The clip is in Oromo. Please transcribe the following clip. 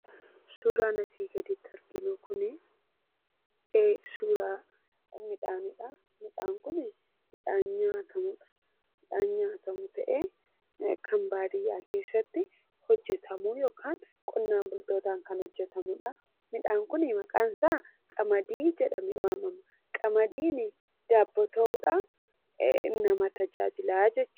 Suuraan asii gaditti arginu kunii, suuraa midhaaniidha. Midhaan Kuni midhaan nyaatamu ta'ee kan baadiyaa keessatti hojjetamuu yookaan qonnaan bultootaan kan hojjetamudha. Midhaan kunii maqaan isaa qamadii jedhamee waamama. Qamadiin daabboo ta'uudhaan nama tajaajila.